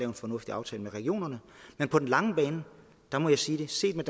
en fornuftig aftale med regionerne men på den lange bane må jeg sige at set med